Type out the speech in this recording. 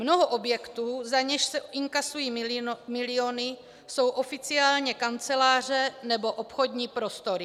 Mnoho objektů, za něž se inkasují miliony, jsou oficiálně kanceláře nebo obchodní prostory.